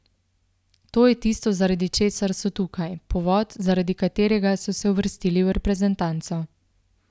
To je tisto, zaradi česar so tukaj, povod, zaradi katerega so se uvrstili v reprezentanco.